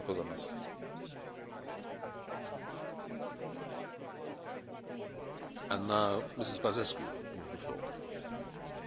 În condițiile facilităților oferite de piața unică, multe companii europene desfășoară activități economice și în alte state ale Uniunii.